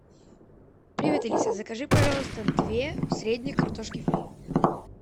привет алиса закажи пожалуйста две средние картошки фри